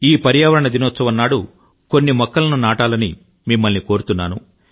ఈ పర్యావరణ దినోత్సవం నాడు కొన్ని మొక్కలను నాటాలని మిమ్మల్ని కోరుతున్నాను